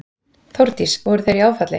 Þórdís: Voru þau í áfalli?